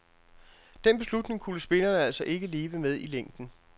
Den beslutning kunne spillerne altså ikke leve med i længden.